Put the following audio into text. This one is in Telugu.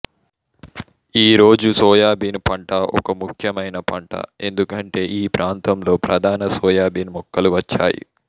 ఈ రోజు సోయాబీన్ పంట ఒక ముఖ్యమైన పంట ఎందుకంటే ఈ ప్రాంతంలో ప్రధాన సోయాబీన్ మొక్కలు వచ్చాయి